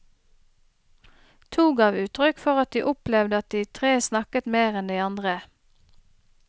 To gav uttrykk for at de opplevde at de tre snakket mer enn de andre.